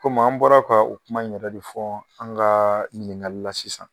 Komi an bɔra ka u kuma in yɛrɛ de fɔ an ka ɲininkali la sisan